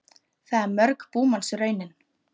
Það er mörg búmanns raunin.